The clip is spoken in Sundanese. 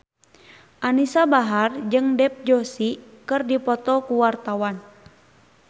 Anisa Bahar jeung Dev Joshi keur dipoto ku wartawan